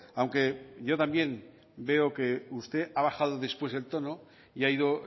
aunque yo también veo que usted ha bajado después el tono y ha ido